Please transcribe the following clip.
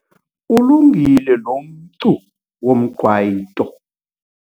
Ulungile lomcu womqwayito.